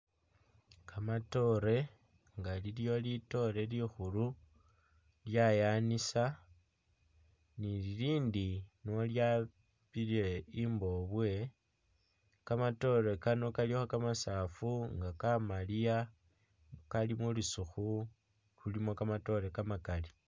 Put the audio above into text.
Kamatoore nga iliwo litoore likhulu lyayanisa ni lilindi nolyapile i'mbobwe, kamatoore kano kalikho kamasaafu nga kamaliya Kali mulusukhu, kamatoore kamakali.